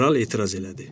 kral etiraz elədi.